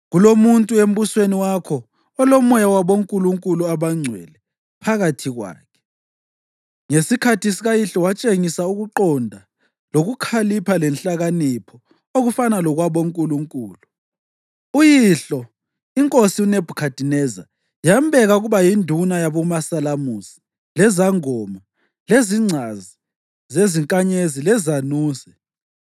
Kulomuntu embusweni wakho olomoya wabonkulunkulu abangcwele phakathi kwakhe. Ngesikhathi sikayihlo watshengisa ukuqonda, lokukhalipha lenhlakanipho okufana lokwabonkulunkulu. Uyihlo, inkosi uNebhukhadineza yambeka ukuba yinduna yabomasalamusi, lezangoma, lezingcazi zezinkanyezi lezanuse.